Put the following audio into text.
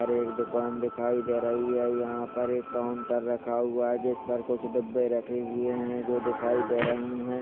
ओर एक दुकान दिखाई दे रही है यहाँ पर एक काउंटर रखा हुआ है जिस पर कुछ डब्बे रखे हुए है जो दिखाई दे रहे हैं।